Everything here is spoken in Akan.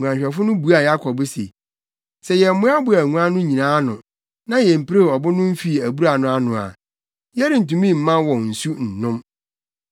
Nguanhwɛfo no buaa Yakob se, “Sɛ yɛmmoaboaa nguan no nyinaa ano, na yempirew ɔbo no mfii abura no ano a, yɛrentumi mma wɔn nsu nnom.”